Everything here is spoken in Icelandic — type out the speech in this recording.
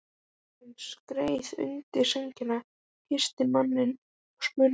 Konan skreið undir sængina, kyssti manninn og spurði